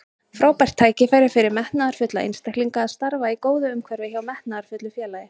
Frábært tækifæri fyrir metnaðarfulla einstaklinga að starfa í góðu umhverfi hjá metnaðarfullu félagi.